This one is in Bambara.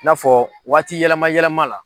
N'a fɔ waati yɛlɛma yɛlɛma la.